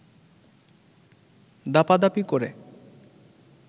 দাপাদাপি করে